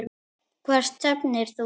Hvert stefnir þú?